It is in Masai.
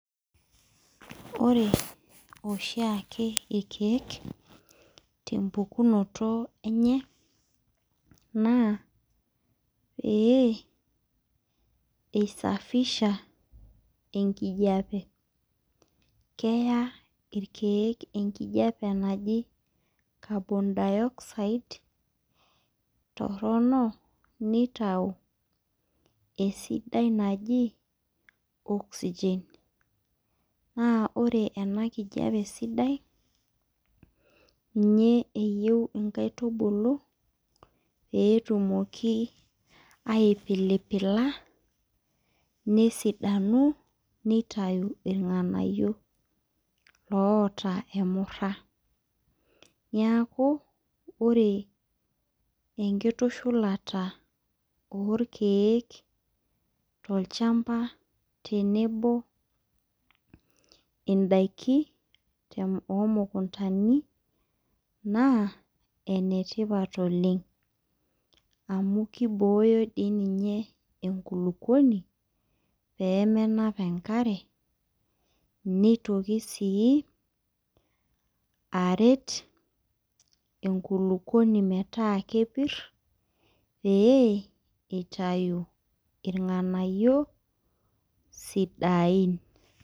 Ore ashiake rkiek te mpukunoto enye naa pee eisafisha enijape keya rkiek enkijape naji carbon dioxide torono neyau esidai naji oxygen naa ore ena kijape sidai ninye eeyieu nkaitubulu peeyie etumoki apilipila nesidanu neitayu rnganayio oota emurra niaku ore enkitushulata oo rkiek too lchamba tenebo ndaiki oo mukuntani naa enetipat oleng amu keibooyo enkulukuoni pee menap enkare neitoki sii aret enkulupuoni metaa kepir pee eitayu rnganayio sidain.